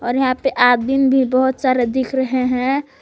और यहां पे आदमीन भी बहोत सारे दिख रहे हैं।